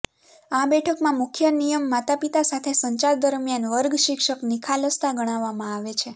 આ બેઠકમાં મુખ્ય નિયમ માતાપિતા સાથે સંચાર દરમિયાન વર્ગ શિક્ષક નિખાલસતા ગણવામાં આવે છે